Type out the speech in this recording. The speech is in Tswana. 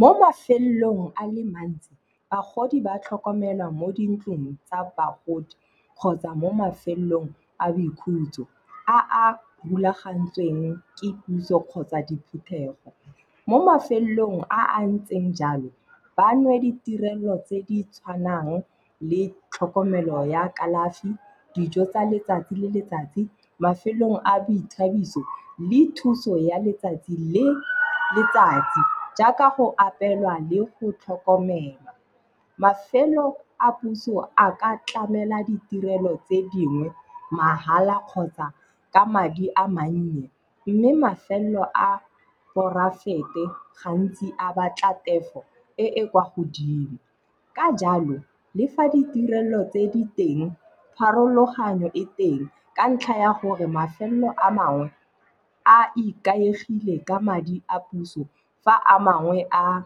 Mo mafelong a le mantsi bagodi ba tlhokomelwa mo dintlong tsa bagodi kgotsa mo mafelong a boikhutso a a rulagantsweng ke puso kgotsa diphuthego. Mo mafelong a a ntseng jalo ba nwe ditirelo tse di tshwanang le tlhokomelo ya kalafi, dijo tsa letsatsi le letsatsi, mafelong a boithabiso le thuso ya letsatsi le letsatsi jaaka go apellwa le go tlhokomelwa. Mafelo a puso a ka tlamela ditirelo tse dingwe mahala kgotsa ka madi a mannye. Mme mafelo a poraefete gantsi a batla tefo e e kwa godimo. Ka jalo, le fa ditirelo tse di teng, pharologanyo e teng ka ntlha ya gore mafelo a mangwe a ikaegile ka madi a puso fa a mangwe a